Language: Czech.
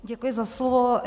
Děkuji za slovo.